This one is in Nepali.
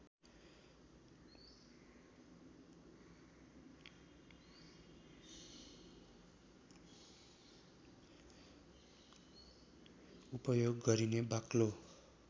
उपयोग गरिने बाक्लो